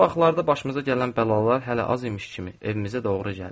Son vaxtlarda başımıza gələn bəlalar hələ az imiş kimi evimizə doğru gəldi.